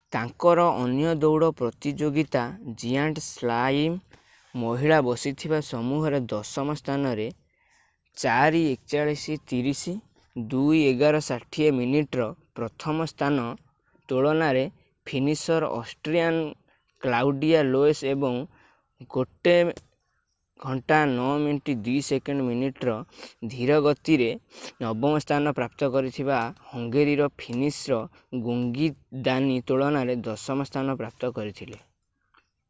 ତାଙ୍କର ଅନ୍ୟ ଦୌଡ ପ୍ରତିଯୋଗୀତା ଜିଆଣ୍ଟ୍ ସ୍ଲାଲମ୍ ମହିଳା ବସିଥିବା ସମୂହରେ ଦଶମ ସ୍ଥାନରେ 4 41.30 2 11.60 ମିନିଟ୍ ର ପ୍ରଥମ ସ୍ଥାନ ତୁଳନାରେ ଫିନିସର୍ ଅଷ୍ଟ୍ରିଆନ୍ କ୍ଲାଉଡିଆ ଲୋଏସ୍ ଏବଂ 1 09.02 ମିନିଟ୍ ର ଧିର ଗତିରେ ନବମ ସ୍ଥାନ ପ୍ରାପ୍ତ କରିଥିବା ହଙ୍ଗେରୀର ଫିନିସର୍ ଜ୍ଞୋଙ୍ଗୀ ଦାନି ତୁଳନାରେ ଦଶମ ସ୍ଥାନ ପ୍ରାପ୍ତ କରିଥିଲେ